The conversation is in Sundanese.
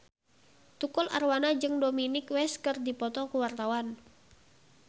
Tukul Arwana jeung Dominic West keur dipoto ku wartawan